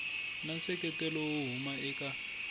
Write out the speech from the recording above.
na nseketelo wo huma eka